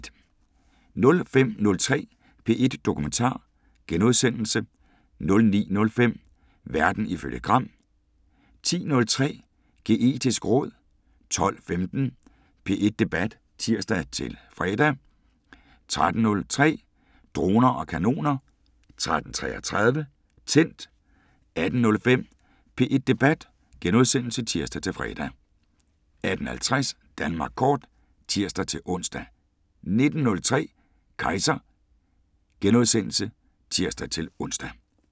05:03: P1 Dokumentar * 09:05: Verden ifølge Gram 10:03: Kejser (tir-ons) 11:03: Geetisk råd 12:15: P1 Debat (tir-fre) 13:03: Droner og kanoner 13:33: Tændt 18:05: P1 Debat *(tir-fre) 18:50: Danmark Kort (tir-ons) 19:03: Kejser *(tir-ons)